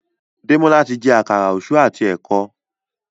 Demola tí jé Àkàrà Òṣú àti eko.